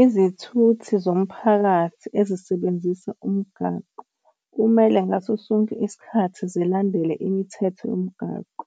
Izithuthi zomphakathi ezisebenzisa umgaqo kumele ngaso sonke isikhathi zilandele imithetho yomgaqo.